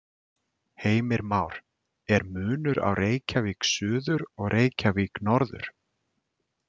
Heimir Már: Er munur á Reykjavík suður og Reykjavík norður?